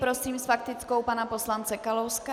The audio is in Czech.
Prosím s faktickou pana poslance Kalouska.